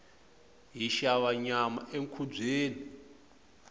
hi xava nyama enkhubyeni